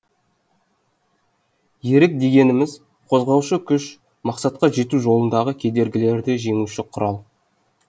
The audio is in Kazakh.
ерік дегеніміз қозғаушы күш мақсатқа жету жолындағы кедергілерді жеңуші құрал